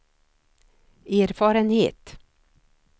erfarenhet